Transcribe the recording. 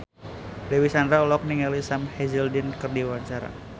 Dewi Sandra olohok ningali Sam Hazeldine keur diwawancara